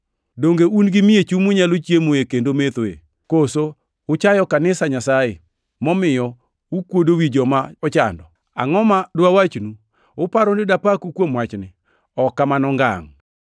Donge un gi miechu munyalo chiemoe kendo methoe? Koso uchayo kanisa Nyasaye, momiyo ukuodo wi joma ochando? Angʼo ma dawachnu? Uparo ni dapaku kuom wachni? Ok kamano ngangʼ!